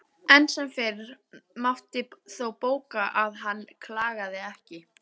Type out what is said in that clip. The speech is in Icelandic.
Enn sem fyrr mátti þó bóka að hann klagaði ekki.